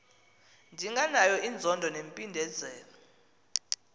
ndinganayo inzondo nempindezelo